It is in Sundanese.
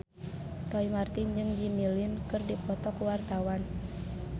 Roy Marten jeung Jimmy Lin keur dipoto ku wartawan